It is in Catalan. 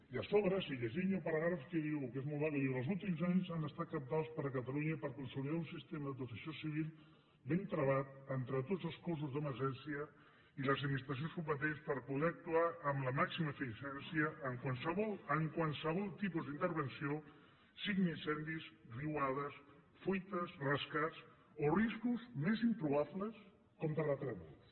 i a sobre si llegim hi ha una paràgraf que diu que és molt maco diu els últims anys han estat cabdals per a catalunya per consolidar un sistema de protecció civil ben travat entre tots els cossos d’emergència i les administracions competents per poder actuar amb la màxima eficiència en qualsevol tipus d’intervenció siguin incendis riuades fuites rescats o riscos més improbables com terratrèmols